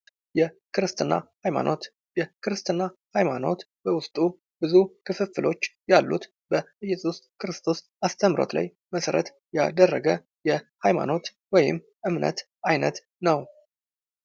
የክርስትና ሃይማኖት የክርስትና ሃይማኖት በውስጡ ብዙ ክፍፍሎች ያሉት በእየሱስ ክርስቶስ አስተምህሮት ላይ መሰረት ያደረገ የሃይማኖት ወይም እምነት ዓይነት ነው።